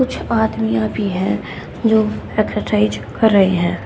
कुछ आदमियां भी है जो एक्सरसाइज कर रहे हैं।